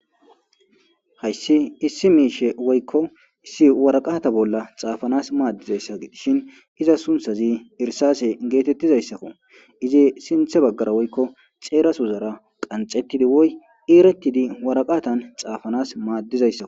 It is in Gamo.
Hayssi issi miishe woykko issi waraqata bolla xaafanas maaddizayssa dishin iza sunthazi irsase geetettizayssakko izi sinthe baggara woykko xeerasuzara qanxettidi woy eeretidi waraqatan xaafanas maaddizayssak.